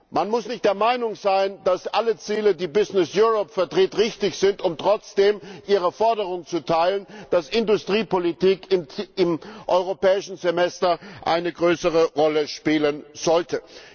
Man muss nicht der Meinung sein, dass alle Ziele, die Businesseurope vertritt, richtig sind, um trotzdem ihre Forderung zu teilen, dass Industriepolitik im Europäischen Semester eine größere Rolle spielen sollte.